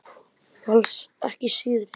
Og alls ekki síðri.